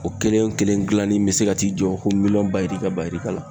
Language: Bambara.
O kelen wo kelen gilanni be se ka t'i jɔ ko miliyɔn bajirika bajirika la.